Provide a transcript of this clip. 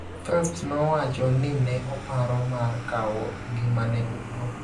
Phelps nowacho ni ne oparo mar kawo ngimane owuon.